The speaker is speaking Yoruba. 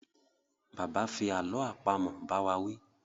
Bàbá fi àlọ́ àpamọ̀ bá wá wí